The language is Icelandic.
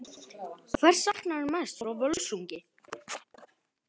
Hvers saknarðu mest frá Völsungi?